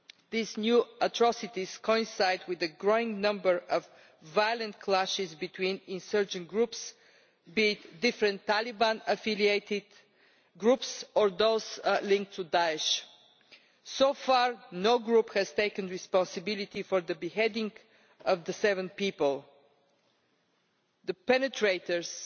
These new atrocities coincide with a growing number of violent clashes between insurgent groups, whether different Taliban affiliated groups or those linked to Daesh. So far no group has claimed responsibility for the beheading of the seven people. The perpetrators